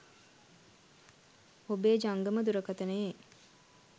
ඔබේ ජංගම දුරකථනයේ